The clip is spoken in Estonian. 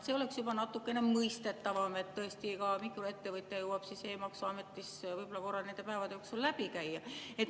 See oleks juba natukene mõistetavam, et tõesti ka mikroettevõtja jõuab siis e‑maksuametist võib-olla korra nende päevade jooksul läbi käia.